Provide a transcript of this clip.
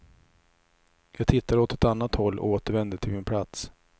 Jag tittade åt ett annat håll och återvände till min plats.